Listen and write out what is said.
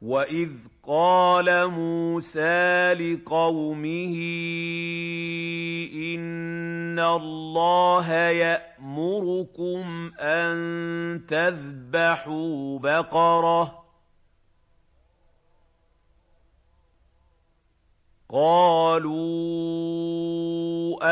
وَإِذْ قَالَ مُوسَىٰ لِقَوْمِهِ إِنَّ اللَّهَ يَأْمُرُكُمْ أَن تَذْبَحُوا بَقَرَةً ۖ قَالُوا